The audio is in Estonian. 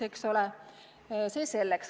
Aga see selleks.